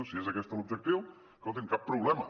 si és aquest l’objectiu escoltin cap problema